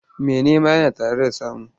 Mai nema yana tare da samu.